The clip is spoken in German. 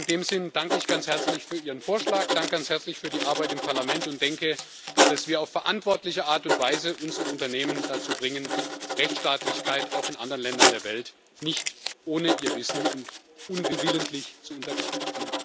In diesem Sinne danke ich ganz herzlich für Ihren Vorschlag, danke ganz herzlich für die Arbeit im Parlament und denke, dass wir auf verantwortliche Art und Weise unsere Unternehmen dazu bringen, Rechtsstaatlichkeit auch in anderen Ländern der Welt nicht ohne ihr Wissen und unwillentlich zu untergraben.